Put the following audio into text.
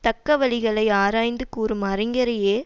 தக்க வழிகளை ஆராய்ந்து கூறும் அறிஞரையே